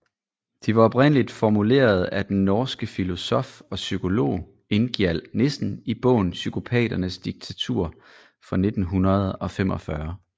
De var oprindeligt formuleret af den norske filosof og psykolog Ingjald Nissen i bogen Psykopaternes diktatur fra 1945